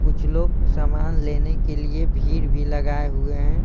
कुछ लोग सामान लेने के लिए भीड़ भी लगाए हुए हैं।